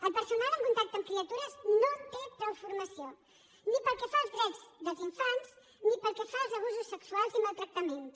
el personal en contacte amb criatures no té prou formació ni pel que fa als drets dels infants ni pel que fa als abusos sexuals i maltractaments